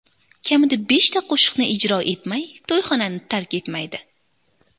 Kamida beshta qo‘shiqni ijro etmay, to‘yxonani tark etmaydi.